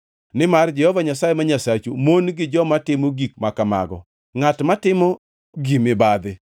Nimar Jehova Nyasaye ma Nyasachu mon gi joma timo gik ma kamago; ngʼat matimo gi mibadhi.